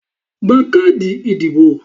Gba káàdì ìdìbò!